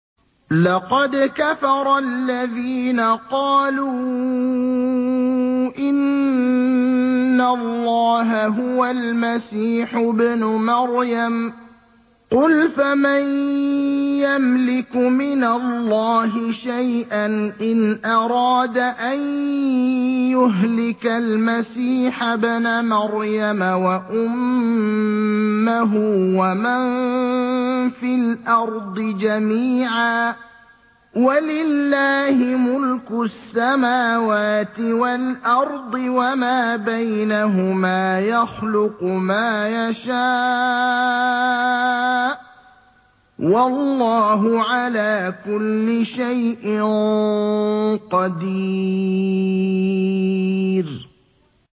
لَّقَدْ كَفَرَ الَّذِينَ قَالُوا إِنَّ اللَّهَ هُوَ الْمَسِيحُ ابْنُ مَرْيَمَ ۚ قُلْ فَمَن يَمْلِكُ مِنَ اللَّهِ شَيْئًا إِنْ أَرَادَ أَن يُهْلِكَ الْمَسِيحَ ابْنَ مَرْيَمَ وَأُمَّهُ وَمَن فِي الْأَرْضِ جَمِيعًا ۗ وَلِلَّهِ مُلْكُ السَّمَاوَاتِ وَالْأَرْضِ وَمَا بَيْنَهُمَا ۚ يَخْلُقُ مَا يَشَاءُ ۚ وَاللَّهُ عَلَىٰ كُلِّ شَيْءٍ قَدِيرٌ